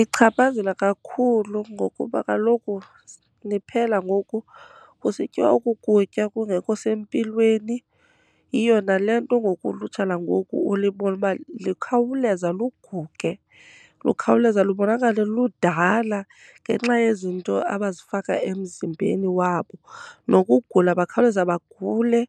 Ichaphazela kakhulu ngokuba kaloku niphela ngoku kusityiwa oku kutya kungekho sempilweni. Yiyo nale nto ngoku ulutsha langoku ulibone uba likhawuleza luguge, lukhawuleza lubonakale ludala ngenxa yezinto abazifaka emzimbeni wabo. Nokugula bakhawuleza bagule.